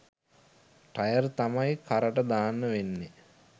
Tyre තමයි කරට දාන්න වෙන්නෙ.